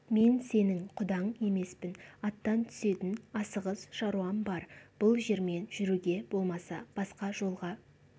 мен сенің құдаң емеспін аттан түсетін асығыс шаруам бар бұл жермен жүруге болмаса басқа жолға